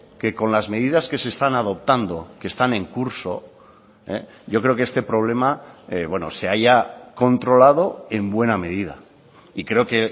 que con las medidas que se están adoptando que están en curso yo creo que este problema se haya controlado en buena medida y creo que